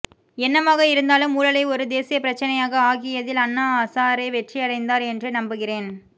என்னவாக இருந்தாலும் ஊழலை ஒரு தேசியப்பிரச்சினையாக ஆக்கியதில் அண்ணா ஹசாரே வெற்றியடைந்தார் என்றே நம்புகிறேன்